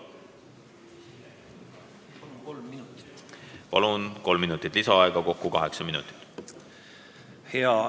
Palun, kolm minutit lisaaega, kokku kaheksa minutit!